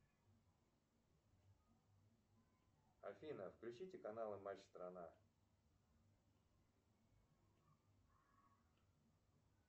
афина включите каналы матч страна